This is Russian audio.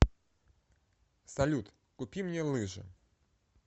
салют купи мне лыжи